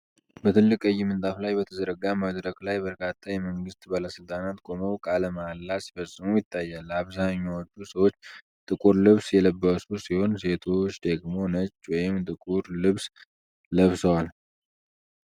በትልቅ ቀይ ምንጣፍ ላይ በተዘረጋ መድረክ ላይ በርካታ የመንግስት ባለስልጣናት ቆመው ቃለ መሐላ ሲፈጽሙ ይታያል። አብዛኞቹ ሰዎች ጥቁር ልብስ የለበሱ ሲሆን፣ ሴቶች ደግሞ ነጭ ወይም ጥቁር ልብስ ለብሰዋል።